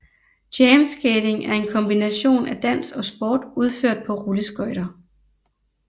Jam skating er en kombination af dans og sport udført på rulleskøjter